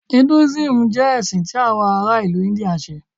Hinduism jẹ ẹsin ti awọn ara ilu India nṣe.